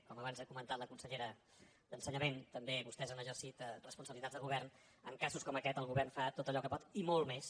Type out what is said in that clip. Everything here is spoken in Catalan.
com abans ha comentat la consellera d’ensenyament també vostès han exercit responsabilitats de govern en casos com aquest el govern fa tot allò que pot i molt més